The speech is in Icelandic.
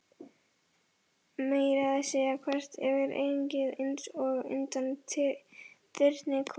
Meira að segja þvert yfir ennið, einsog undan þyrnikórónu.